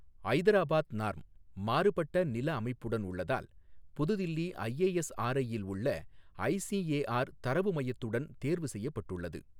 Hyderabad norm, மாறுபட்ட நில அமைப்புடன் உள்ளதால், புதுதில்லி ஐஏஎஸ்ஆர்ஐ யில் உள்ள ஐசிஏஆர் தரவு மையத்துடன் தேர்வு செய்யப்பட்டுள்ளது.